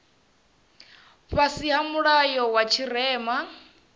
fhasi ha mulayo wa tshirema